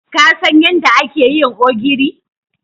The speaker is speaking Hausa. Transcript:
Ka San yadda ake yin ogiri?